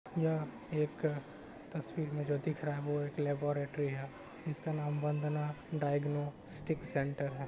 यह एक अ तस्वीर में जो दिख रहा है वो एक लेबोरेटरी है इसका नाम वंदना डायग्नोस्टिक सेंटर है।